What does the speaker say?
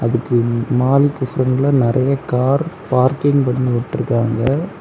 அடுத்து மாலுக்கு பிரண்ட்ல நறைய கார் பார்க்கிங் பண்ணி விட்ருக்காங்க.